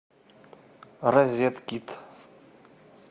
розеткед